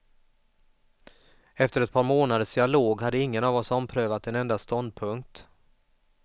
Efter ett par månaders dialog hade ingen av oss omprövat en enda ståndpunkt.